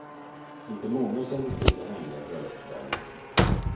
Inte många kände till de hemliga bröllopsplanerna.